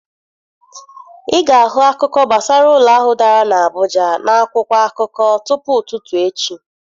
Ị ga-ahụ akụkọ gbasara ụlọ ahụ dara n'Abuja n'akwụkwọ akụkọ tupu ụtụtụ echi.